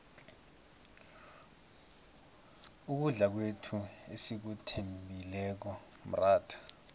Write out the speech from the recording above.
ukudla kwethu esikuthembileko mratha